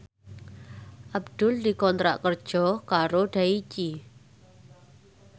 Abdul dikontrak kerja karo Daichi